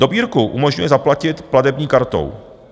Dobírku umožňuje zaplatit platební kartou.